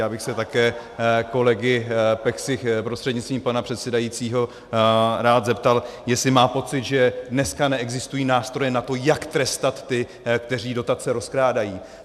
Já bych se také kolegy Peksy prostřednictvím pana předsedající rád zeptal, jestli má pocit, že dneska neexistují nástroje na to, jak trestat ty, kteří dotace rozkrádají.